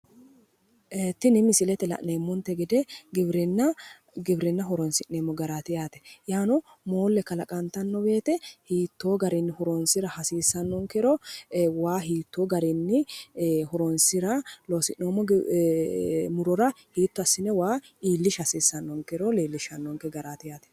ee tini misilete aana la'neemmonte gede giwirinna horonsi'neemmo garaati yaate moolle kalaqantanno woyte hiittoo garinni horonsira hasiissannonkero waa hiittoo garinni horonsira loosi'noommo murora waa hiitto asine iillishsha hasiissannonkero leellishshanoonke garaati yaate